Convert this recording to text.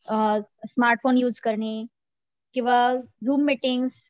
smartphone use करणे किंवा Zoom meeting